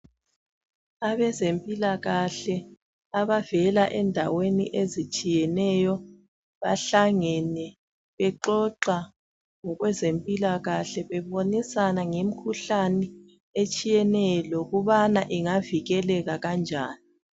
Abezempilakahle abavela endaweni ezitshiyeneyo bahlangene bexoxa ngokwempilakahle bebonisana ngemikhuhlane etshiyeneyo lokubana ingavikeleka kanjani.